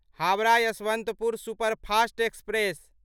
Howrah Yesvantpur superfast express